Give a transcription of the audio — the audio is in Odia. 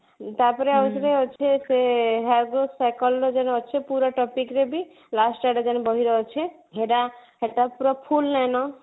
ତା ପରେ ଆଉ ଥରେ ଅଛି ସେ ହବ psychology ର ଅଛି ପୁରା topic ରେ ବି last ଆଡକରେ ବହିରେ ଅଛି ଯୋଉଟା ସେଟା ପୁରା full ନାଇଁ ନା